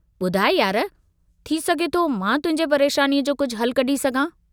बुधाइ यार थी सघे थो मां तुहिंजे परेशानीअ जो कुझ हलु कढी सघां।